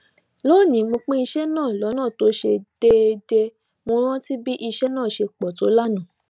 lónìí mo pín iṣé náà lónà tó ṣe deedee mo rántí bí iṣé náà ṣe pò tó lánàá